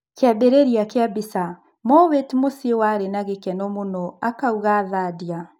Kĩambĩrĩria kĩa mbica, Mowate mũciĩ warĩ na gĩkeno mũno" akauga Thadia.